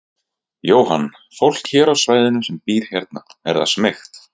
Jóhann: Fólk hér á svæðinu sem býr hérna, er það smeykt?